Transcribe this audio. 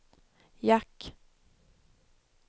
jack